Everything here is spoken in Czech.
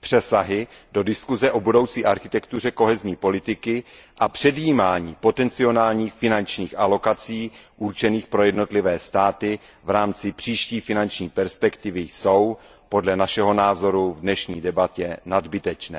přesahy do diskuse o budoucí architektuře politiky soudržnosti a předjímání potenciálních finančních alokací určených pro jednotlivé státy v rámci příští finanční perspektivy jsou podle našeho názoru v dnešní debatě nadbytečné.